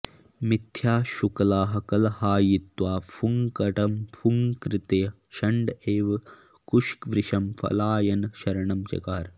मिथ्या शुक्लः कलहायित्वा फुङ्कटंफुंकृत्य शण्ड इव कुशवृषं पलायनशरणं चकार